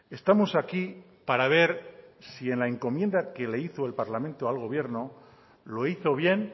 estamos aquí para ver si en la encomienda que le hizo el parlamento al gobierno lo hizo bien